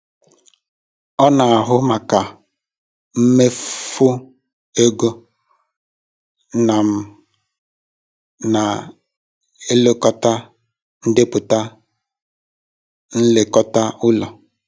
Ọ na-ahụ maka mmefu ego na m na-elekọta ndepụta nlekọta ụlọ.